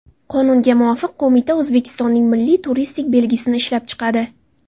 Qonunga muvofiq, qo‘mita O‘zbekistonning milliy turistik belgisini ishlab chiqadi.